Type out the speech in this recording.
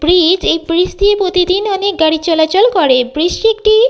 bridge এই bridge -টি প্রতিদিন অনেক গাড়ি চলাচল করে ব্রীজ -টি একটি--